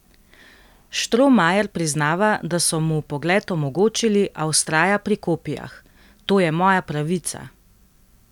Štromajer priznava, da so mu vpogled omogočili, a vztraja pri kopijah: "To je moja pravica.